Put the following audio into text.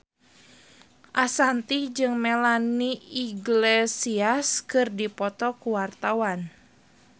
Ashanti jeung Melanie Iglesias keur dipoto ku wartawan